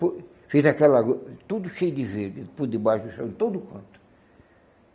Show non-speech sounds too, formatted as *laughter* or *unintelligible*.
*unintelligible* Fiz aquela... tudo cheio de verde, por debaixo do chão, em todo canto.